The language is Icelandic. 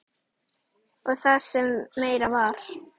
Og það sem meira var.